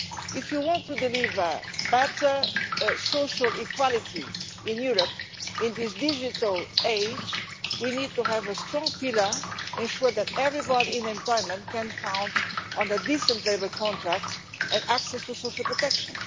If you want to deliver better social equality in Europe in this digital age, we need to have a strong pillar to ensure that everybody in employment can count on a decent labour contract and access to social protection.